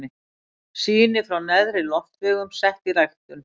Sýni frá neðri loftvegum sett í ræktun.